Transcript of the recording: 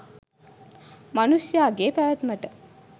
මනුෂ්‍යයාගේ පැවැත්මට